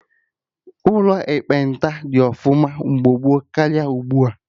Ụlọ ekpenta dị ọfụma mgbe gboo karịa ugbua